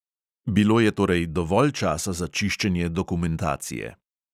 Bilo je torej dovolj časa za čiščenje dokumentacije.